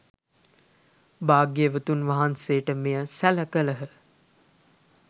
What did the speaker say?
භාග්‍යවතුන් වහන්සේට මෙය සැළ කළහ